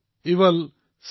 পৰিয়াল সমাজক অনুপ্ৰেৰিত কৰক